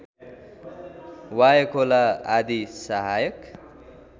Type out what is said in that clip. वायखोला आदि सहायक